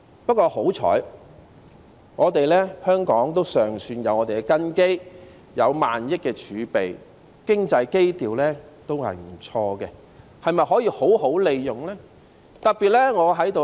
不過，幸好香港尚算有根基，有萬億元的儲備，經濟基調也不錯，但是否可以好好利用呢？